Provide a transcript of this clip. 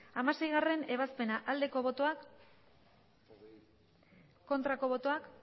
hamaseigarrena ebazpena aldeko botoak aurkako botoak